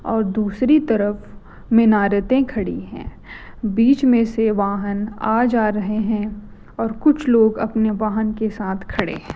और दूसरी तरफ मिनारतें खड़ी हैं बीच में से वाहन आ जा रहे हैं और कुछ लोग अपने वाहन के साथ खड़े हैं